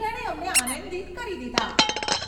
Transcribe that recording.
જેણે અમને આનંદિત કરી દીધાં.